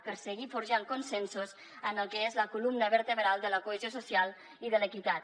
per seguir forjant consensos en el que és la columna vertebral de la cohesió social i de l’equitat